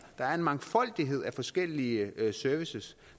der er en mangfoldighed af forskellige services